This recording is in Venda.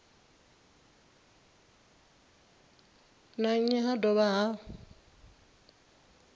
na nnyi ha dovha ha